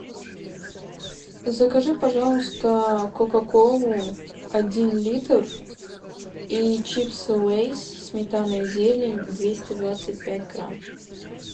закажи пожалуйста кока колу один литр и чипсы лейс сметана и зелень двести двадцать пять грамм